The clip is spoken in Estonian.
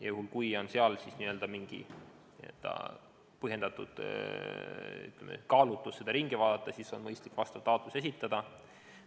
Juhul, kui on põhjendatud kaalutlus lasta otsus üle vaadata, siis on mõistlik vastav taotlus esitada.